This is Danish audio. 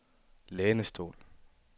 lænestol